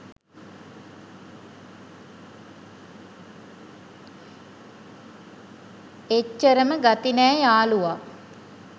එච්චරම ගති නෑ යාළුවා.